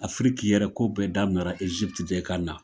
Afrique yɛrɛ ko bɛɛ daminɛra Egypte de kana.